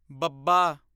ਬੱਬਾ